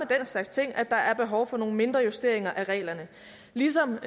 slags ting at der er behov for nogle mindre justeringer af reglerne ligesom